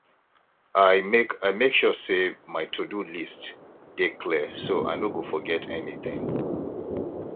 i make i make sure say my todo list dey clear so i no go forget anything